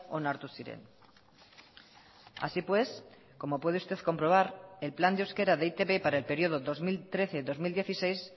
onartu ziren así pues como puede usted comprobar el plan de euskera de e i te be para el periodo dos mil trece dos mil dieciséis